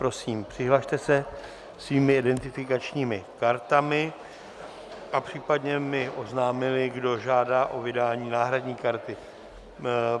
Prosím, přihlaste se svými identifikačními kartami a případně mi oznamte, kdo žádá o vydání náhradní karty.